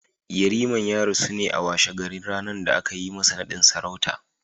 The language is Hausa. Yariman ya rasu na a washe ɗarin ranar da aka yi masa naɗin sarauta